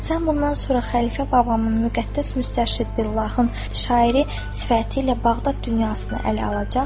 Sən bundan sonra xəlifə Babamın müqəddəs müstəşid Billahın şairi sifəti ilə Bağdad dünyasına ələ alacaq.